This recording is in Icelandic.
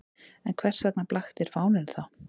En hvers vegna blaktir fáninn þá?